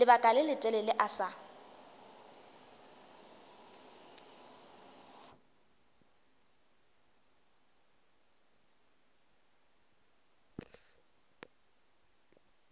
lebaka le letelele a sa